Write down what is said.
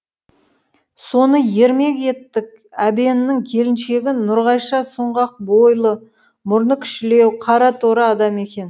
соны ермек еттік әбеннің келіншегі нұрғайша сұңғақ бойлы мұрны кішілеу қара торы адам екен